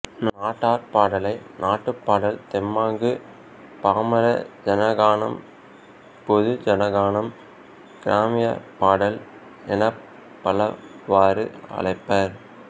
நாட்டார் பாடலை நாட்டுப்பாடல் தெம்மாங்கு பாமர ஜனகானம் பொதுஜனகானம் கிராமியபாடல் எனப் பலவாறு அழைப்பர்